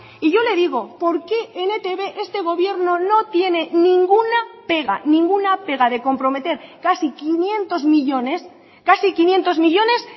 y yo le digo por qué en etb este gobierno no tiene ninguna pega ninguna pega de comprometer casi quinientos millónes casi quinientos millónes